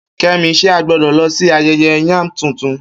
Kemi, ṣé a gbọ́dọ̀ lọ sí ayẹyẹ yam tuntun?